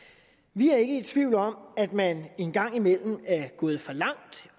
vi er ikke i tvivl om at man en gang imellem er gået for langt